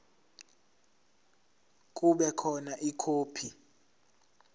kube khona ikhophi